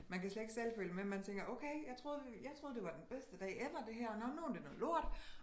Man kan slet ikke selv følge med man tænker okay jeg troede jeg troede det var den bedste dag ever det her nåh men nu er det noget lort